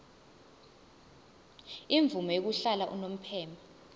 imvume yokuhlala unomphema